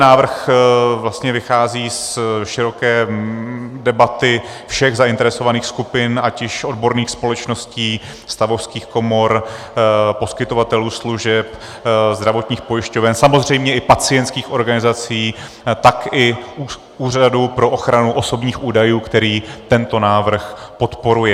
Návrh vlastně vychází z široké debaty všech zainteresovaných skupin, ať již odborných společností, stavovských komor, poskytovatelů služeb, zdravotních pojišťoven, samozřejmě i pacientských organizací, tak i Úřadu pro ochranu osobních údajů, který tento návrh podporuje.